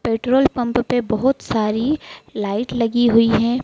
Petrol pump पर बहुत सारी लाइट लगी हुई हैं।